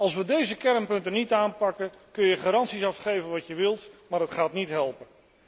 Als we deze kernpunten niet aanpakken, kunnen we garanties afgeven wat we willen, maar het gaat niet helpen.